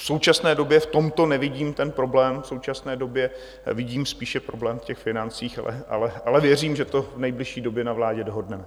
V současné době v tomto nevidím ten problém, v současné době vidím spíše problém v těch financích, ale věřím, že to v nejbližší době na vládě dohodneme.